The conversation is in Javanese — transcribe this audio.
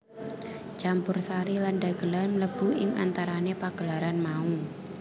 Campursari lan dhagelan mlebu ing antarané pagelaran mau